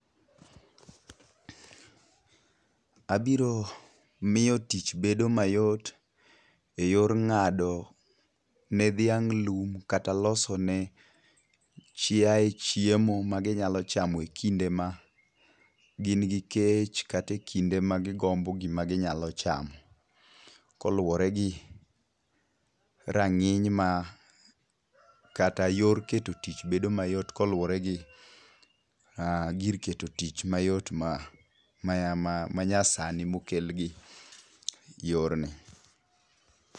Abiro miyo tich bedo mayot eyor ng'ado ne dhiang' lum kata loso ne chiaye chiemo maginyalo chamo ekinde ma gin gi kech kata e kinde magigombo gima ginyalo chamo. Kaluwore gi rang'iny mar kata yor keto tich bedo mayot koluwore gi gir keto tich mayot manyasani mokel gi yorni.